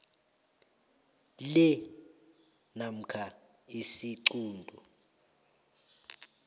lea namkha isiquntu